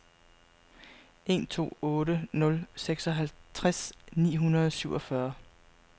en to otte nul seksoghalvtreds ni hundrede og syvogfyrre